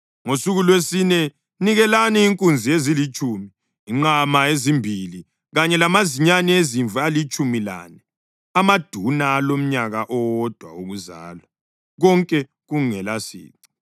Ngosuku lwesine nikelani inkunzi ezilitshumi, inqama ezimbili kanye lamazinyane ezimvu alitshumi lane amaduna alomnyaka owodwa wokuzalwa, konke kungelasici.